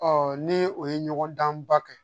ni o ye ɲɔgɔndanba kɛ